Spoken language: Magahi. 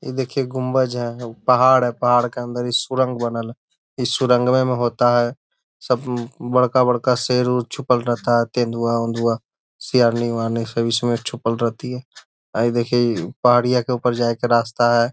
इ दिखिए गुम्बज है हउ पहाड़ है पहाड़ के अंदर इ सुरंग बनल है इ सुरंगवे में होता है सब बड़का-बड़का शेर उर छुपल रहता है तेंदुआ ओन्दुआ शेरनी-वेरनी सब इसमें छुपल रहते है हई देखिये इ पहाड़ के ऊपर जाए के रास्ता है।